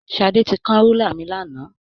Ṣadé ti kán rúlà mi lánàá.